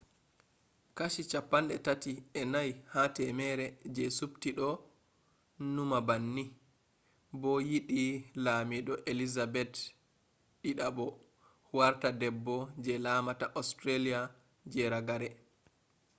kashi 34 ha 100 je subti do numa banni be yidi lamido elizabeth ii warta debbo je laamata australia je ragare